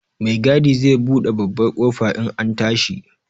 Mai gadi zai buɗe babbar ƙofa in an tashi.